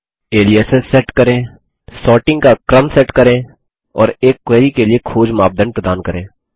aliases set करें sorting का क्रम सेट करें और एक क्वेरी के लिए खोज मापदंड प्रदान करें